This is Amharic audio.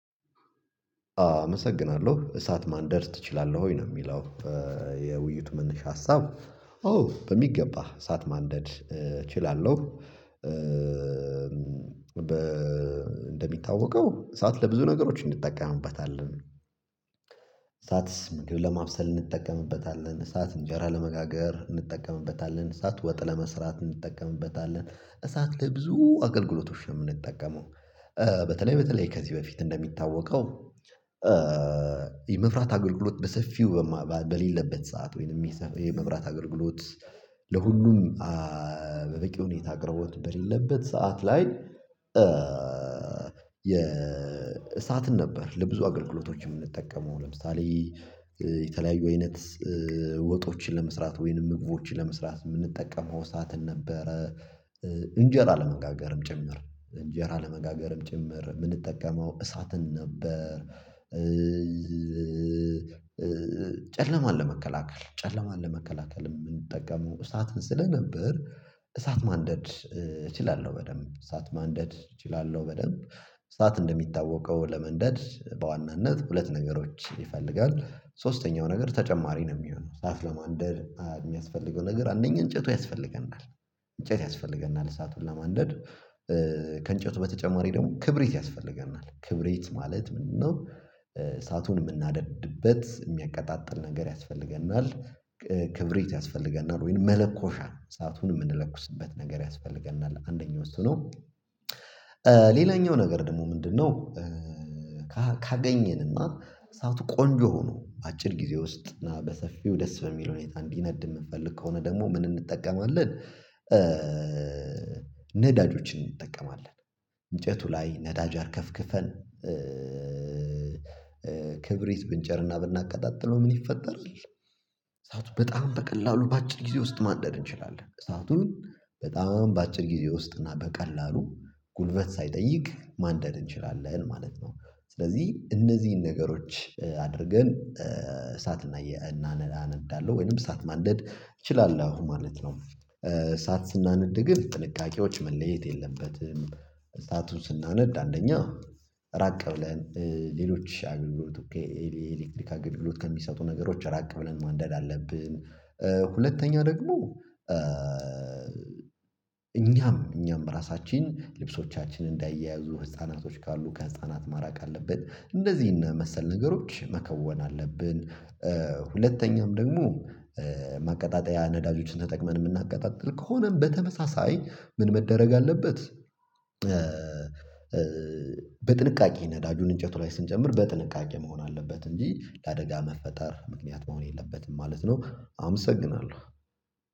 አመሰግናለሁ እሳት ማንደድ ትችላለህ ወይ ነው የሚለው? የውይይት መነሻ ሀሳብ ኦ በሚገባ እሳት ማንደድ እችላለሁ። እንደሚታወቀው እሳት ለብዙ ነገሮች እንጠቀምበታለን እሳትስ ምግብ ለማብሰል እንጠቀምበታለን እሳት እንጀራ ለመጋገር እንጠቀምበታለን እሳት ወጥ ለመስራት እንጠቀምበታለን እሳት ለብዙ አገልግሎቶች ነው የምንጠቀመው። በተለይ በተለይ ከዚህ በፊት እንደሚታወቀው። የመብራት አገልግሎት በሰፊው በሌለበት ሰዓት ወይንም የመብራት አገልግሎት ለሁሉም በበቂ ሁኔታ አቅርቦት በሌለበት ሰዓት ላይ። የእሳትን ነበር ለብዙ አገልግሎቶች የምንጠቀመው ለምሳሌ የተለያዩ አይነት ወጦችን ለመስራት ወይንም ምግቦችን ለመስራት የምንጠቀመው እሳአት ነበረ። እንጀራ ለመጋገርም ጭምር እንጀራ ለመጋገርም ጭምር የምንጠቀመው እሳትን ነበር። ጨለማን ለመከላከል ጨለማን ለመከላከል የምንጠቀመው እሳትን ስለነበር እሳት ማንደድ እችላለሁ በደንብ እሳት ማንደድ እችላለሁ በደንብ። እሳት እንደሚታወቀው ለመንደድ በዋናነት ሁለት ነገሮች ይፈልጋል። ሶስተኛው ነገር ተጨማሪ ነው የሚሆነው እሳት ለማንደድ የሚያስፈልገው ነገር አንደኛ እንጨቱ ያስፈልገናል እንጨት ያስፈልገናል እሳቱን ለማንደድ ከእንጨቱ በተጨማሪ ደግሞ ክብሪት ያስፈልገናል ክብሪት ማለት ምንድነው? እሳቱን የምናደድበት የሚያቀጣጥል ነገር ያስፈልገናል። ክብሪት ያስፈልገናል ወይንም መለኮሻ እሳቱን የምንለኩስበት ነገር ያስፈልገናል አንደኛው እሱ ነው። ሌላኛው ነገር ደግሞ ምንድነው? ካገኘንና እሳቱ ቆንጆ ሆኖ በአጭር ጊዜ ውስጥ እና በሰፊው ደስ በሚል ሁኔታ እንዲነድ የምንፈልግ ከሆነ ደግሞ ምን እንጠቀማለን? ነዳጆችን እንጠቀማለን እንጨቱ ላይ ነዳጅ አርከፍክፈን ክብሪት ብንጭርና ብናቀጣጥለው ምን ይፈጠራል እሳቱ በጣም በቀላሉ በአጭር ጊዜ ውስጥ ማንደር እንችላለን። እሳቱን በጣም በአጭር ጊዜ ውስጥ እና በቀላሉ ጉልበት ሳይጠይቅ ማንደር እንችላለን ማለት ነው። ስለዚህ እነዚህን ነገሮች አድርገን እሳት አነዳለሁ ወይንም እሳት ማንደድ እችላለሁ ማለት ነው። እሳት ስናነድ ግን ጥንቃቄዎች መለየት የለበትም እሳቱን ስናነድ አንደኛ ራቅ ብለን ሌሎች አገልግሎት የኤሌክትሪክ አገልግሎት ከሚሰጡ ነገሮች ራቅ ብለን ማንደድ አለብን። ሁለተኛው ደግሞ እኛም እኛም ራሳችን ልብሶቻችን እንዳይያያዙ ህፃናቶች ካሉ ከህፃናት ማራቅ አለብን እንደዚህ እና መሰል ነገሮች መከወን አለብን። ሁለተኛም ደግሞ ማቀጣጠያ ነዳጆችን ተጠቅመን የምናቀጣጥል ከሆነም በተመሳሳይ ምን መደረግ አለበት? በጥንቃቄ ነዳጁን እንጨቱ ላይ ስንጨምር በጥንቃቄ መሆን አለበት እንጂ ለአደጋ መፈጠር ምክንያት መሆን የለበትም ማለት ነው። አመሰግናለሁ